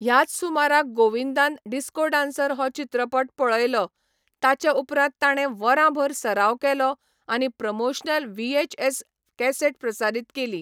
ह्याच सुमाराक गोविंदान डिस्को डान्सर हो चित्रपट पळयलो, ताचे उपरांत ताणें वरांभर सराव केलो आनी प्रमोशनल व्हीएचएस कॅसेट प्रसारीत केली.